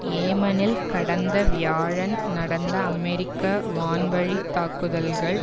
யேமனில் கடந்த வியாழன் நடந்த அமெரிக்க வான்வழி தாக்குதல்கள்